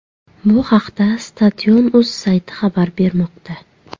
Bu haqda Stadion.uz sayti xabar bermoqda.